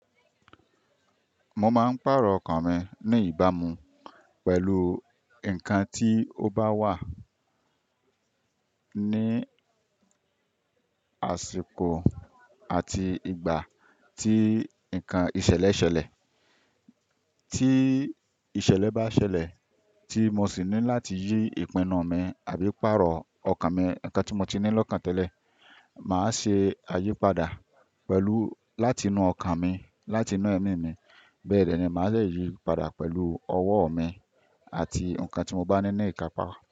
Mo máa ń pàrọ̀ ọkàn mi ní ìbámu pẹ̀lú nǹkan tí ó bá wà ní àsìkò àti ìgbà tí nǹkan ìṣẹ̀lẹ̀ ṣẹlẹ̀. Tí ìṣẹ̀lẹ̀ bá ṣẹlẹ̀ tí mo sì ní láti yí ìpinnu mi àbí pàrọ̀ ọkàn mi, ǹkan tí mo ti ní lọ́kàn tẹ́lẹ̀, màá ṣe àyípadà pẹ̀lú láti inú ọkàn mi, láti inú ẹ̀mí mi. Bẹ́ẹ̀ ni, màá le yí padà pẹ̀lú ọwọ́ mi àti ǹkan tí mo bá ní ní ìkápa.